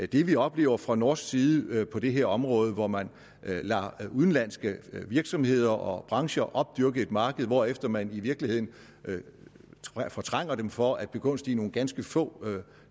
det vi oplever fra norsk side på det her område hvor man lader udenlandske virksomheder og brancher opdyrke et marked hvorefter man i virkeligheden fortrænger dem for at begunstige nogle ganske få